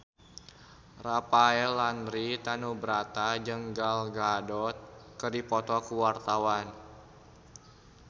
Rafael Landry Tanubrata jeung Gal Gadot keur dipoto ku wartawan